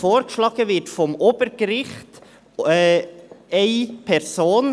Vom Obergericht wird Person vorgeschlagen;